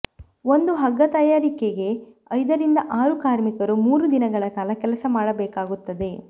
ಒಂದು ಹಗ್ಗ ತಯಾರಿಕೆಗೆ ಐದರಿಂದ ಆರು ಕಾರ್ಮಿಕರು ಮೂರು ದಿನಗಳ ಕಾಲ ಕೆಲಸ ಮಾಡಬೇಕಾಗುತ್ತದೆ